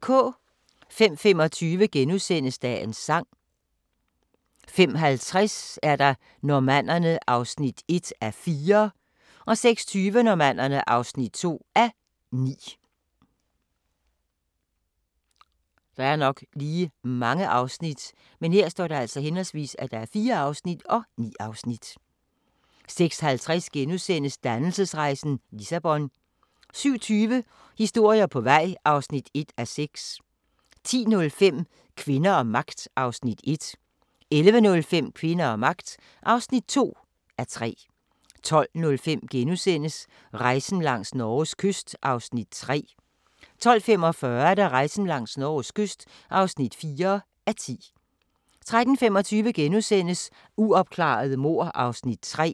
05:25: Dagens sang * 05:50: Normannerne (1:4) 06:20: Normannerne (2:9) 06:50: Dannelsesrejsen – Lissabon * 07:20: Historier på vej (1:6) 10:05: Kvinder og magt (1:3) 11:05: Kvinder og magt (2:3) 12:05: Rejsen langs Norges kyst (3:10)* 12:45: Rejsen langs Norges kyst (4:10) 13:25: Uopklarede mord (3:6)*